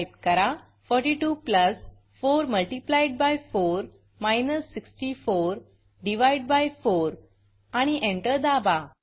type करा 42 plus 4 multiplied by 4 माइनस 64 divided by 4 आणि एंटर दाबा